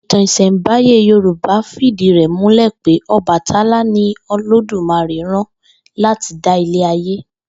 Ìtàn ìs̩è̩ǹbáyé Yorùbá fìdí rè̩ múlè̩ pé O̩bàtálá ni Olódùmarè rán láti dá ilé ayé